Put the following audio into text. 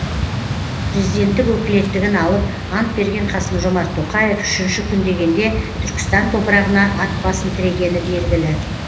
президенттік өкілеттігін алып ант берген қасым жомарт тоқаев үшінші күн дегенде түркістан топырағына ат басын тірегені белгілі